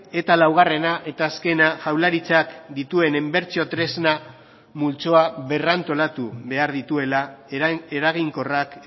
eta laugarrena eta azkena jaurlaritzak dituen inbertsio tresna multzoa berrantolatu behar dituela eraginkorrak